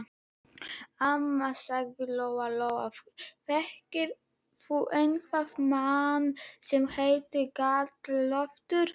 Amma, sagði Lóa Lóa, þekkir þú einhvern mann sem heitir Galdra-Loftur?